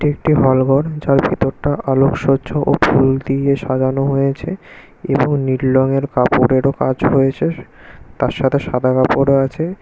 একটি হলঘর যার ভেতরটা আলোক সহ্য ও ফুল দিয়ে সাজানো হয়েছে এবং নীল রঙের কাপড়েরও কাজ হয়েছে তার সাথে সাদা কাপড়ও আছে।